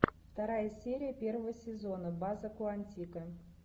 вторая серия первого сезона база куантико